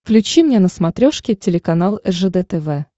включи мне на смотрешке телеканал ржд тв